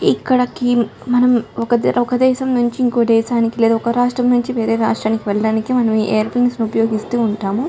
ఇక్కడికి మనం ఒక దేశం నుంచి ఇంకో దేశానికి లేద ఒక రాష్ట్రం నుంచి వేరే రాష్ట్రానికి వెళ్లడానికి మనం ఏరోప్లేన్ ఉపయోగిస్తూ ఉంటాము.